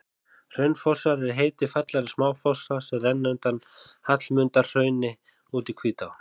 Hraunfossar er heiti fallegra smáfossa sem renna undan Hallmundarhrauni út í Hvítá.